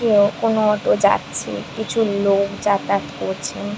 কেউ কোন অটো যাচ্ছে। কিছু লোক যাতায়াত করছে।